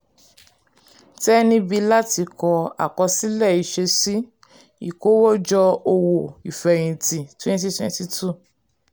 tẹ níbí láti ka àkọsílẹ̀ ìṣesí um ìkówójọ owó ìfẹ̀yìntì twenty twenty two.